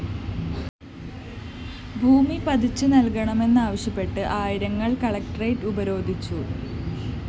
ഭൂമി പതിച്ചു നല്‍കണമെന്നാവശ്യപ്പെട്ട്‌ ആയിരങ്ങള്‍ കളക്ടറേറ്റ്‌ ഉപരോധിച്ചു